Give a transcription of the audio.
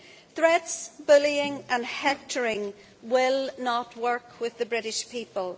Threats, bullying and hectoring will not work with the British people.